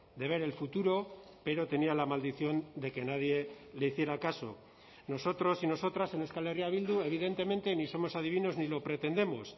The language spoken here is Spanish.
de ver el futuro pero tenía la maldición de que nadie le hiciera caso nosotros y nosotras en euskal herria bildu evidentemente ni somos adivinos ni lo pretendemos